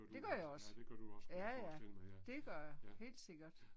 Det gør jeg også. Ja ja, det gør jeg. Helt sikkert